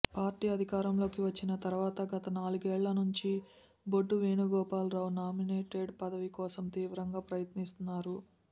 party అధికారంలోకి వచ్చిన తర్వాత గత నాలుగేళ్ల నుంచీ బొడ్డు వేణుగోపాల రావు నామినేటెడ్ పదవి కోసం తీవ్రంగా ప్రయత్నిస్తున్నారు